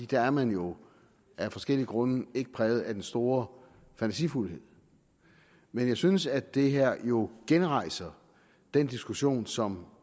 der er man jo af forskellige grunde ikke præget af den store fantasifuldhed men jeg synes at det her jo genrejser den diskussion som